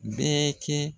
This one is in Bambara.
Bɛɛ kɛ